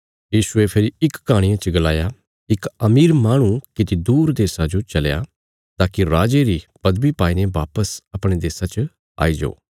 यीशुये फेरी इक कहाणिया च गलाया इक अमीर माहणु किति दूर देशा जो चलया ताकि राजे री पदवी पाईने वापस अपणे देशा च आई जाओ